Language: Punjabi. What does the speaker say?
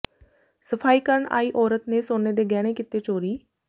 ਸਫ਼ਾਈ ਕਰਨ ਆਈ ਔਰਤ ਨੇ ਸੋਨੇ ਦੇ ਗਹਿਣੇ ਕੀਤੇ ਚੋਰੀ